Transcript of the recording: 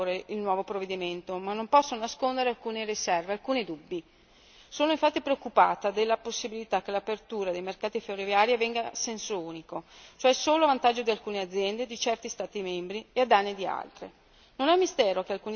Accolgo dunque con favore il nuovo provvedimento, ma non posso nascondere alcune riserve, alcuni dubbi. Sono infatti preoccupata per la possibilità che l'apertura dei mercati ferroviari avvenga a senso unico, cioè solo a vantaggio di alcune aziende e di certi Stati membri e a danni di altri.